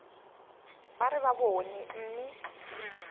ba re ba bone mme